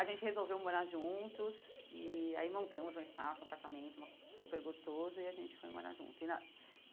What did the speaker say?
A gente resolveu morar juntos e aí montamos um espaço, um apartamento uma super gostoso e a gente foi morar junto e na.